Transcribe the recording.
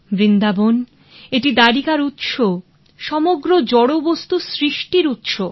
বৃন্দাবন এটি দ্বারিকার উৎস সমগ্র জড়বস্তু সৃষ্টির উৎস